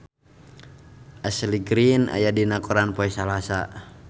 Ashley Greene aya dina koran poe Salasa